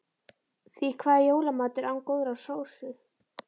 Því hvað er jólamatur án góðrar sósu?